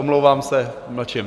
Omlouvám se, mlčím.